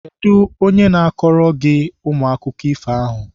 Kedụ onye na-akọrọ unu akụkọ ifo ahụ?